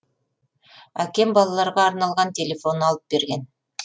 әкем балаларға арналған телефон алып берген